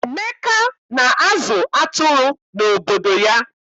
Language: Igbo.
Emeka na-azụ atụrụ n'obodo ya.